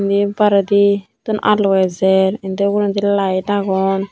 indi baredittun alo ejer indi uguredi light agon.